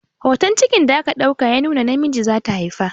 Hotan cikin da aka ɗauka ya nuna namiji zata haifa